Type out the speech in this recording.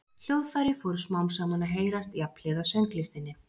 Hljóðfæri fóru smám saman að heyrast jafnhliða sönglistinni.